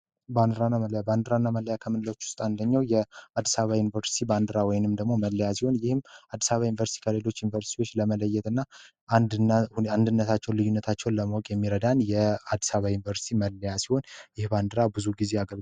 ባንክ ምንደኛው የአዲስ አበባ ዩኒቨርስቲ ባንዲራ ወይንም ደግሞ መለያየን ይህም አዲስ አበባ ዩኒቨርስቲ ከሌሎች ዩኒቨርስቲዎች ለመለየትና አንድነት አንድነታቸው ልዩነታቸውን ለማወቅ የሚረዳን የአዲስ አበባ ዩኒቨርሲቲ መለያ ሲሆን የባንዲራ ብዙ ጊዜ